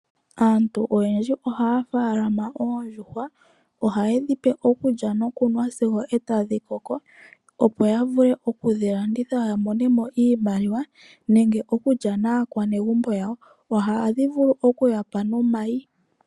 Aantu oyendji ohaya tekula oondjuhwa, ohaye dhipe okulya nokunwa sigo eta dhi koko opo ya vule okudhi landitha yamone mo iimaliwa nenge yalye naakwanegumbo yawo, oha dhi ya pe wo omayi.